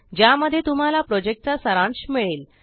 ज्या मध्ये तुम्हाला प्रोजेक्ट चा सारांश मिळेल